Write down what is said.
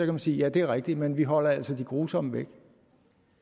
man sige at det er rigtigt men vi holder altså de grusomme væk